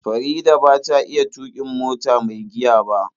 Farida ba ta iya tuƙin mota mai giya ba.